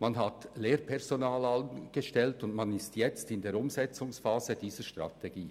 Man hat Lehrpersonal angestellt und ist jetzt in der Umsetzungsphase dieser Strategie.